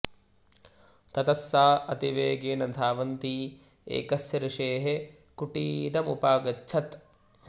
ततः सा अति वेगेन धावन्ती एकस्य ऋषेः कुटिरमुपागच्छत्